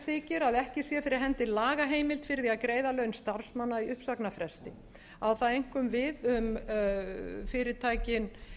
þykir að ekki sé fyrir hendi lagaheimild fyrir því að greiða laun starfsmanna í uppsagnarfresti á það einkum við um fyrirtækin